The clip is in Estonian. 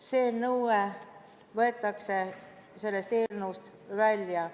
See nõue võetakse sellest eelnõust välja.